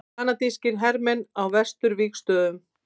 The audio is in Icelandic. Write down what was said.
Kanadískir hermenn á vesturvígstöðvunum.